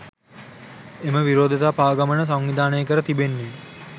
එම විරෝධතා පාගමන සංවිධානය කර තිබෙන්නේ